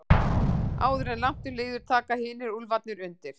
Áður en langt um líður taka hinir úlfarnir undir.